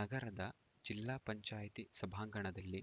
ನಗರದ ಜಿಲ್ಲಾ ಪಂಚಾಯತಿ ಸಭಾಂಗಣದಲ್ಲಿ